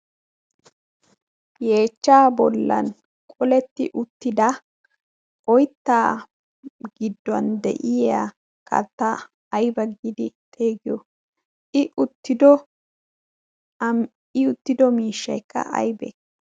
yeechchaa bollan qoletti uttida oittaa gidduwan de'iya katta ayba giidi teegiyo i uttido miishshaekka aybee?